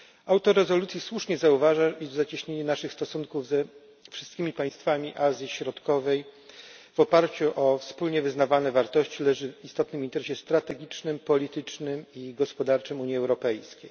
Autor rezolucji słusznie zauważa, iż zacieśnienie naszych stosunków ze wszystkimi państwami Azji Środkowej w oparciu o wspólnie wyznawane wartości leży w istotnym interesie strategicznym, politycznym i gospodarczym Unii Europejskiej.